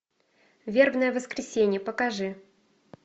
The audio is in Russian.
вербное воскресенье покажи